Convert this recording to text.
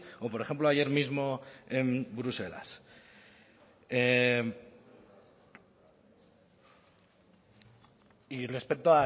o por ejemplo ayer mismo en bruselas y respecto